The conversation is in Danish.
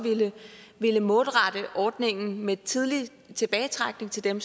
målrette ordningen med tidlig tilbagetrækning til dem